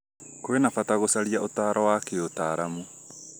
kwĩna bata gũcaria ũtaaro wa kĩũtaaramu